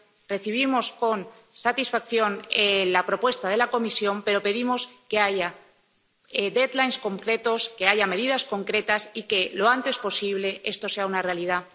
Recibimos con satisfacción la propuesta de la Comisión, pero pedimos que haya plazos concretos, que haya medidas concretas y que lo antes posible esto sea una realidad.